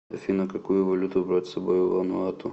афина какую валюту брать с собой в вануату